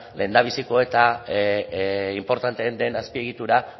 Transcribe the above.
lehendabiziko eta inportanteen den azpiegitura